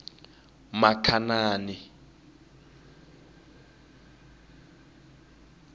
makhanani